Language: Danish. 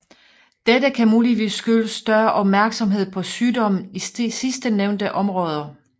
Dette kan muligvis skyldes større opmærksomhed på sygdommen i sidstnævnte områder